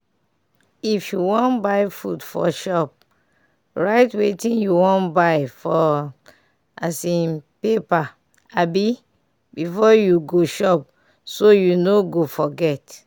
if you wan go buy food for shop write wetting you wan buy for um paper um befor you go shop so you no go forget.